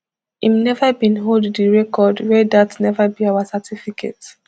im neva bin hold di record wia dat neva be our certificate